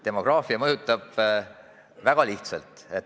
Demograafia mõjutab väga lihtsalt.